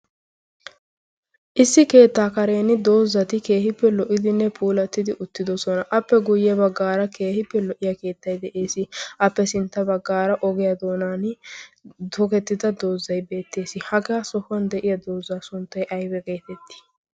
issi keettaa karen doozzati keehippe lo77idinne puulattidi uttidosona. appe guyye baggaara keehippe lo77iya keettai de7ees. appe sintta baggaara ogiyaa doonan tokettida doozzai beettees. hagaa sohuwan de7iya doozzaa sunttai aiba geetettii?